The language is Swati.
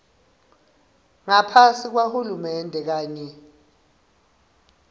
ngaphasi kwahulumende kanye